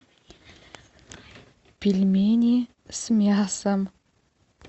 пельмени с мясом